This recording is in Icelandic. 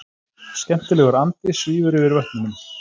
Skemmtilegur andi svífur yfir vötnunum.